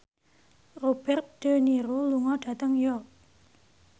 Robert de Niro lunga dhateng York